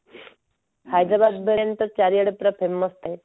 ହାଇଦ୍ରାବାଦ ବିରିୟାନୀ ଏବେତ ପୁରା ଚାରିଆଡେ famous ହେଇ ଯାଇଛି